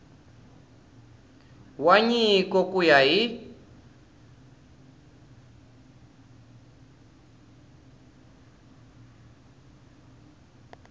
wa nyiko ku ya hi